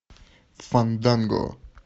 фанданго